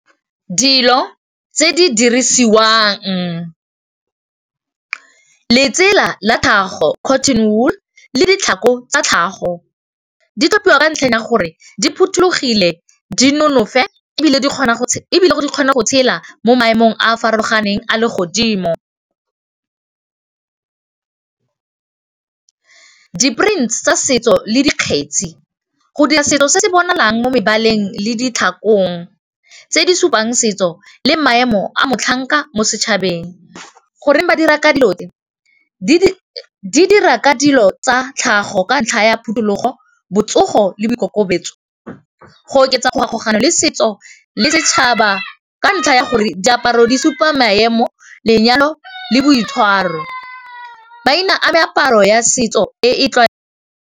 Dilo tse di dirisiwang letsela la gago cotton wool le ditlhako tsa tlhago di tlhophiwa ka ntlheng ya gore di phothulogile di nonofe e bile di kgona go tshela mo maemong a a farologaneng a le godimo di-print tsa setso le dikgetsi go dira setso se se bonalang mo mebaleng le ditlhakong tse di supang setso le maemo a motlhanka mo setšhabeng, goreng ba dira ka dilo ka dilo tsa tlhago ka ntlha ya phutulogo botsogo le boikokobetso, go oketsa go kgaogano le setso le setšhaba ka ntlha ya gore diaparo di supa maemo lenyalo le boitshwaro maina a meaparo ya setso e tla.